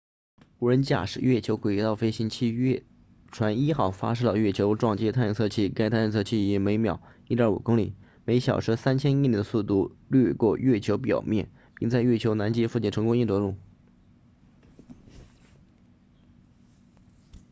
无人驾驶月球轨道飞行器月船一号发射了月球撞击探测器该探测器以每秒 1.5 公里每小时3000英里的速度掠过月球表面并在月球南极附近成功硬着陆